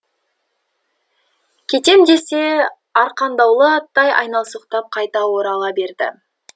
кетем десе де арқандаулы аттай айналсоқтап қайта орала берді